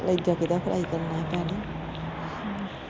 ਕਲੇਜਾ ਕਿਦਾ ਫਰਾਈ ਕਰਨਾ ਹੀ ਭੈਣੇ।